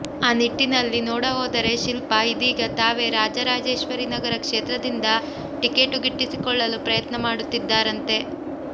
ಆ ನಿಟ್ಟಿನಲ್ಲಿ ನೋಡ ಹೋದರೆ ಶಿಲ್ಪಾ ಇದೀಗ ತಾವೇ ರಾಜರಾಜೇಶ್ವರಿ ನಗರ ಕ್ಷೇತ್ರದಿಂದ ಟಿಕೇಟು ಗಿಟ್ಟಿಸಿಕೊಳ್ಳಲು ಪ್ರಯತ್ನ ಮಾಡುತ್ತಿದ್ದಾರಂತೆ